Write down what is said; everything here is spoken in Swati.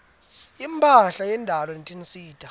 imphahla yendalo netinsita